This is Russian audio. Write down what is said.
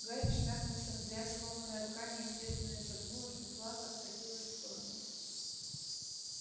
гарри шмякнулся в грязь сломанная рука неестественно изогнулась метла откатилась в сторону